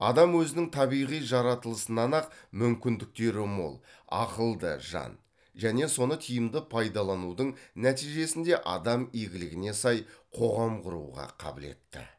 адам өзінің табиғи жаратылысынан ақ мүмкіндіктері мол ақылды жан және соны тиімді пайдаланудың нәтижесінде адам игілігіне сай қоғам құруға қабілетті